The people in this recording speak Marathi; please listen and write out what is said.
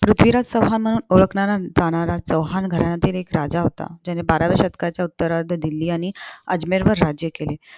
पृथ्वीराज चौहान ओळखणारा जाणारा चौहान घराण्यातील एक राजा होता. ज्याने बाराव्या शतकात उत्तरार्ध दिल्ली आणि अजमेरवर राज्य केले.